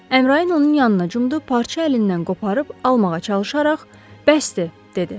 Əmrayin onun yanına cumdu, parça əlindən qoparıb almağa çalışaraq, bəsdir, dedi.